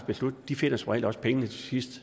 beslutning finder som regel også pengene til sidst